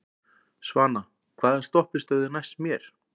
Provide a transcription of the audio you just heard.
Svana, hvaða stoppistöð er næst mér?